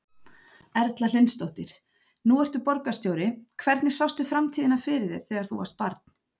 Erla Hlynsdóttir: Nú ertu borgarstjóri, hvernig sástu framtíðina fyrir þér þegar þú varst barn?